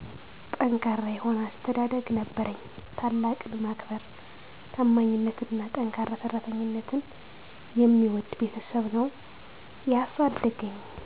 ጠንካራ የሆነ አስተዳደግ ነበረኝ። ታላቅን ማክበር; ታማኝነትንና ጠንካራ ሠራተኝነትን የሚወድ ቤተሠብ ነው ያሣደገኝ።